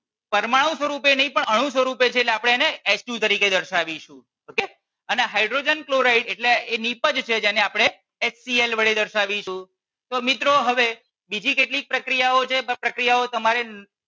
પરમાણુ સ્વરૂપે નહિ પણ અણુ સ્વરૂપે છે એટલે આપણે એને H two તરીકે દર્શાવીશું. okay અને હાઇડ્રોજન ક્લોરાઈડ એટલે એ નિપજ છે જેને આપણે HCL વડે દર્શાવીશું. તો મિત્રો હવે બીજી કેટલીક પ્રક્રિયાઓ છે